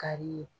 Kari ye